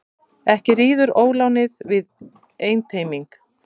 Ekki ríður ólánið við einteyming.